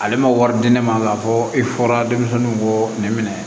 Ale ma wari di ne ma k'a fɔ i fɔra denmisɛnninw ko nin minɛ